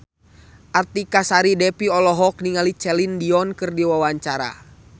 Artika Sari Devi olohok ningali Celine Dion keur diwawancara